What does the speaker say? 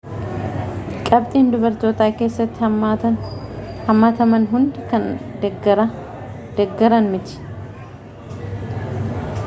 qabxiin dubartootaa keessatti hammataman hundi kan deeggaran miti